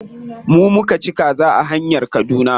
Mu muka ci kaza a hanyar kaduna.